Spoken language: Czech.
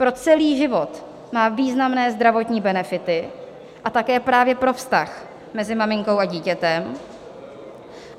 Pro celý život má významné zdravotní benefity a také právě pro vztah mezi maminkou a dítětem.